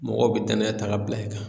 Mɔgɔw be danaya ta g'a bila i kan